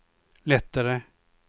lättare